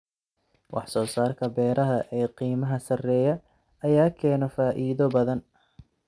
Wax soo saarka beeraha ee qiimaha sarreeya ayaa keena faa'iido badan.